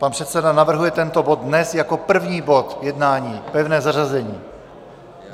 Pan předseda navrhuje tento bod dnes jako první bod jednání, pevné zařazení.